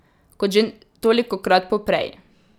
Kot že tolikokrat poprej.